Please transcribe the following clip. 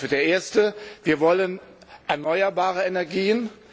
Der erste Wir wollen erneuerbare Energien.